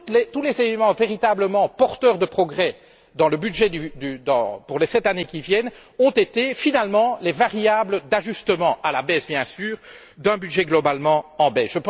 Tous les éléments véritablement porteurs de progrès dans le budget, pour les sept années qui viennent, ont fait l'objet de variables d'ajustement, à la baisse bien sûr, dans un budget globalement en baisse.